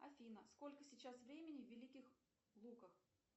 афина сколько сейчас времени в великих луках